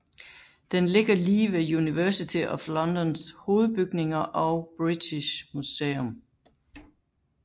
Den ligger lige ved University of Londons hovedbygninger og British Museum